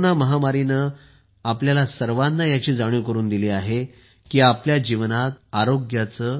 corona महामारीने आपल्या सर्वांना याची जाणीव करून दिली आहे की आपल्या जीवनात आरोग्याचे